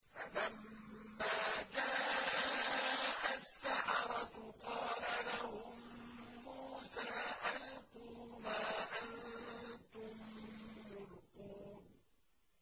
فَلَمَّا جَاءَ السَّحَرَةُ قَالَ لَهُم مُّوسَىٰ أَلْقُوا مَا أَنتُم مُّلْقُونَ